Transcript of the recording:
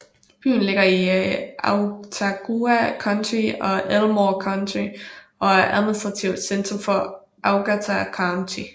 Byen ligger i Autauga County og Elmore County og er administrativt centrum for Autauga County